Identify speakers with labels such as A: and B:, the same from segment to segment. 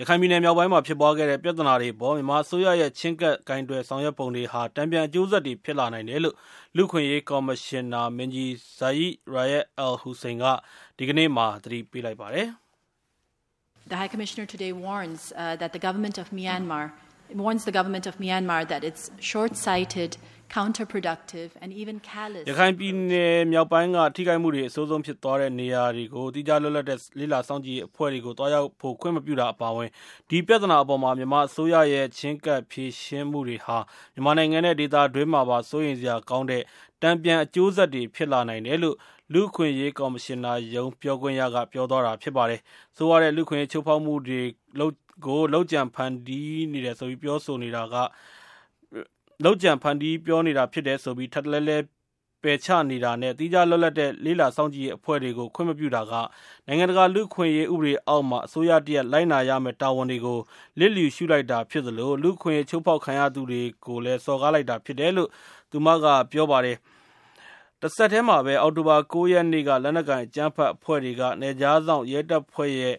A: ရခိုင်ပြည်နယ်မြောက်ပိုင်းမှာ ဖြစ်ပွားခဲ့တဲ့ ပြဿနာတွေအပေါ် မြန်မာအစိုးရရဲ့ ချဉ်းကပ် ကိုင်တွယ် ဆောင်ရွက်ပုံတွေဟာ တန်ပြန်အကျိုးဆက်တွေဖြစ်လာနိုင်တယ်လို့ ကုလသမဂ္ဂ လူ့အခွင့်အရေးကော်မရှင်နာမင်းကြီး Zeid Ra’ad al Hussein က ဒီကနေ့မှာ သတိပေးလိုက်ပါတယ်။ “ရခိုင်ပြည်နယ်မြောက်ပိုင်းက ထိခိုက်မှုတွေအဆိုးဆုံးဖြစ်သွားတဲ့နေရာတွေကို သီးခြားလွတ်လပ်တဲ့ လေ့လာစောင့်ကြည့်ရေးအဖွဲ့တွေကို သွားရောက်ဖို့ခွင့်မပြုတာ အပါအဝင်၊ ဒီပြဿနာအပေါ် မြန်မာအစိုးရရဲ့ ချဉ်းကပ်ဖြေရှင်းမှုတွေဟာ မြန်မာနိုင်ငံ နဲ့ ဒေသတွင်းမှာပါ စိုးရိမ်စရာကောင်းတဲ့ တန်ပြန် အကျိုးဆက်တွေဖြစ်လာနိုင်တယ်လို့” လူ့အခွင့်အရေးကော်မရှင် နာရုံး ပြောခွင့်ရက ပြောသွားတာပါ။ ဆိုးရွားတဲ့ လူ့အခွင့်အရေးချိုးဖောက်မှုတွေဟာ လုပ်ကြံဖန်တီးတာတွေဖြစ်တယ်ဆိုပြီ ထပ်တလဲလဲပယ်ချနေတာ၊နဲ့ သီခြားလွတ်လပ်တဲ့ လေ့လာစောင့်ကြည့်ရေး အဖွဲ့တွေကို ခွင့်မပြုတာက နိုင်ငံတကာလူ့အခွငံအရေးဥပဒေအောက်မှာ အစိုးရတရပ်လိုက်နာရမယ့် တာဝန်တွေကို လစ်လျှူရှုလိုက်တာဖြစ်သလို၊ လူ့အခွင့်အရေးချိုးဖောက်ခံရသူတွေကို စော်ကားလိုက်တာဖြစ်တယ်လို့ သူကက ပြောပါတယ်။ တစပ်တည်းမှာပဲ - လက်နက်ကိုင်အကြမ်းဖက်အဖွဲ့တွေက နယ်ခြားစောင့်ရဲတပ်ဖွဲ့ရဲ့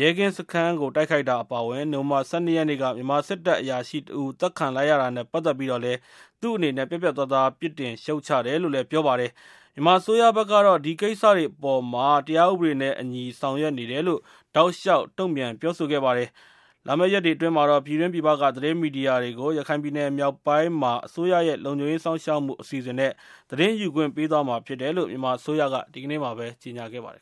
A: ရဲကင်စခန်းကို အောက်တိုဘာ ၉ ရက်နေ့က တိုက်ခိုက်တာအပါအမဝင်၊ နိုဝင်ဘာ ၁၂ ရက်နေ့က မြန်မာစစ်တပ်က အရာရှိတဦး သတ်ခံလိုက်ရတာနဲ့ ပတ်သက်ပြီးတော့ သူက ပြတ်ပြတ်သားသား ပြစ်တင်ရှုတ်ချတယ် လို့ ပြောပါတယ်။ မြန်မာအစိုးရဘက်ကတော့ ဒီကိစ္စတွေနဲ့ ပတ်သက်ပြီး တရားဥပဒေနဲ့ အညီ ဆောင်ရွက်နေတယ်လို့ တောက်လျှောက် တုံ့ပြန်ပြောဆို လာခဲ့တာဖြစ်ပါတယ်။ ဒါ့အပြင် လာမယ့်ရက်တွေအတွင်းမှာ ပြည်တွင်းပြည်ပက သတင်းမီဒီယာတချို့ကို ရခိုင်ပြည်နယ်မြောက်ပိုင်းမှာ အစိုးရရဲ့ လုံခြုံရေးစောင့်ရှောက်မှု အစီအစဉ်တွေ သတင်းယူခွင့်ပေး သွားမှာဖြစ်တယ်လို့ မြန်မာအစိုးရက ဒီကနေ့ ကြေညာခဲ့ပါတယ်